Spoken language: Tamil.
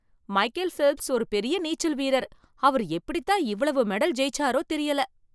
மைக்கேல் ஃபெல்ப்ஸ் ஒரு பெரிய நீச்சல் வீரர். அவர் எப்படி தான் இவ்வளவு மெடல் ஜெயிச்சாரோ தெரியல ?